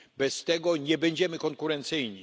Bez tego nie będziemy konkurencyjni.